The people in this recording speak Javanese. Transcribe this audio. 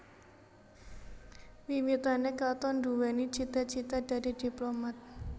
Wiwitané Katon nduwèni cita cita dadi diplomat